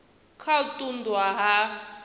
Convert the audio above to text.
kha u ṱun ḓwa ha